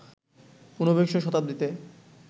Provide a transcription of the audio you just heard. ঊনবিংশ শতাব্দীতে